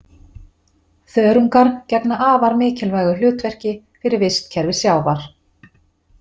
Þörungar gegna afar mikilvægu hlutverki fyrir vistkerfi sjávar.